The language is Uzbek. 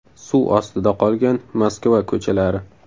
Suv ostida qolgan Moskva ko‘chalari .